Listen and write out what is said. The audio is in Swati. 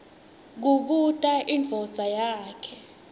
kubuta indvodza yakhe